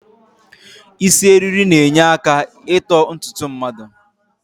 Isi eriri na-enyeaka ito ntutu mmadụ